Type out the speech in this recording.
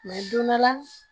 don dɔ la